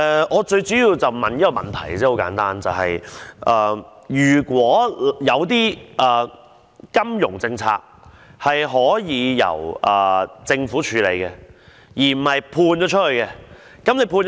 我想問一個很簡單問題，就是金融政策是否可以由政府處理，而不是外判？